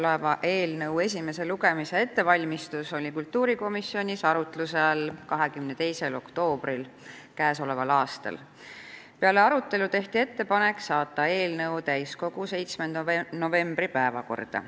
Käesoleva eelnõu esimese lugemise ettevalmistus oli kultuurikomisjonis arutluse all 22. oktoobril k.a. Peale arutelu tehti ettepanek saata eelnõu täiskogu 7. novembri päevakorda.